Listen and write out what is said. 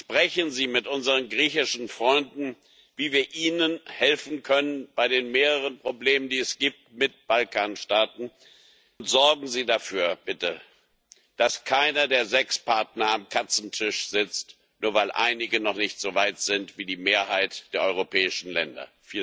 Sprechen Sie mit unseren griechischen Freunden darüber, wie wir ihnen helfen können bei den mehreren Problemen, die es mit Balkanstaaten gibt, und sorgen Sie bitte dafür, dass keiner der sechs Partner am Katzentisch sitzt, nur weil einige noch nicht so weit sind wie die Mehrheit der europäischen Länder.